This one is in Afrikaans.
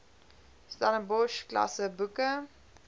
stellenbosch klasse boeke